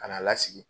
Ka n'a lasigi